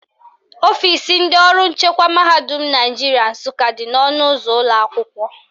Ọfisi ndị ọrụ nchekwa mahadum Naijiria Nsụka dị n' ọnụụzọ ụlọakwụkwọ